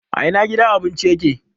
A ina gidan abincin ya ke?